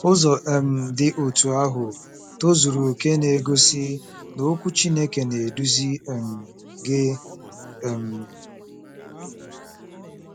Ụzọ um dị otú ahụ tozuru okè na-egosi na Okwu Chineke na-eduzi um gị. um